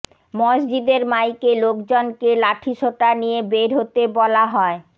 মসজিদের মাইকে লোকজনকে লাঠিসোঁটা নিয়ে বের হতে বলা হয়